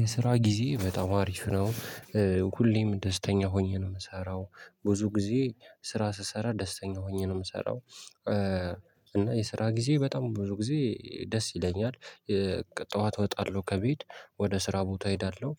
የስራ ጊዜ በጣም አሪፍ ነው። ሁሌም ደስተኛ ሆኜ ነው የምሰራው ብዙ ጊዜ ስራ ስሰራ ደስተኛ ሆኜ ነው የምሰራው። እና የስራ ጊዜ በጣም ብዙ ጊዜ ደስ ይለኛል። ጠዋት እወጣለሁ ከቤት ወደ ስራ ቦታ እሄዳለሁ